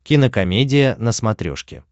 кинокомедия на смотрешке